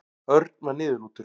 Örn var niðurlútur.